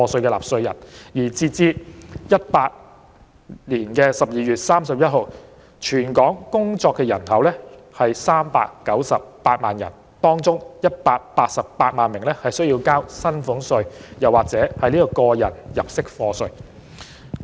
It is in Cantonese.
截至2018年12月31日，全港工作人口有398萬人，當中188萬人須繳交薪俸稅或個人入息課稅。